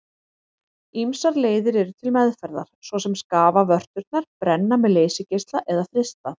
Ýmsar leiðir eru til meðferðar svo sem að skafa vörturnar, brenna með leysigeisla eða frysta.